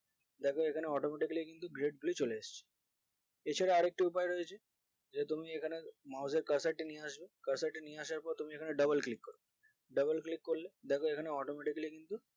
দেখো এখানে কিন্তু automatically কিন্তু grade গুলো চলে এসেছে এছাড়া আরেকটি উপায় রয়েছে যে তুমি এখানে mouse এর cursor নিয়ে আসবে cursor নিয়ে আসার পর তুমি এখানে dobule click করবে dobule click করলে দেখো এখানে automatically কিন্তু